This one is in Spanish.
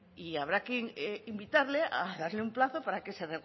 y habrá que invitarle a darle un plazo para que se